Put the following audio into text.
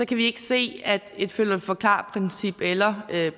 kan vi ikke se at et følg og forklar princip eller